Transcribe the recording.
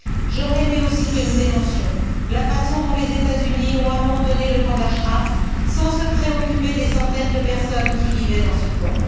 J'aurais aimé aussi que nous dénoncions la façon dont les États Unis ont abandonné le camp d'Ashraf sans se préoccuper des centaines de personnes qui vivaient dans ce camp.